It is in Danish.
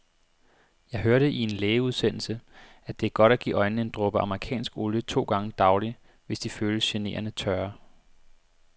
Jeg hørte i en lægeudsendelse, at det er godt at give øjnene en dråbe amerikansk olie to gange daglig, hvis de føles generende tørre.